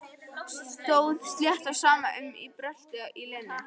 Stóð slétt á sama um bröltið í Lenu.